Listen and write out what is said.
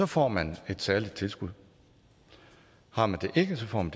får man et særligt tilskud har man det ikke får man